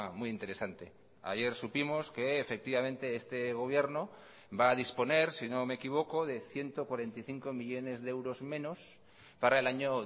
muy interesante ayer supimos que efectivamente este gobierno va a disponer si no me equivoco de ciento cuarenta y cinco millónes de euros menos para el año